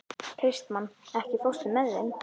Kristmann, ekki fórstu með þeim?